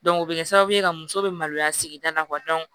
o bɛ kɛ sababu ye ka muso be maloya sigida la